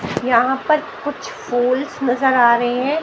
यहां पर कुछ फूल्स नजर आ रहे हैं।